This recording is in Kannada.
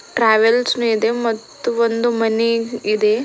ಟ್ರಾವೆಲ್ಸ್ ಮೇ ಇದೆ ಮತ್ತು ಒಂದು ಮನೆ ಇದೆ.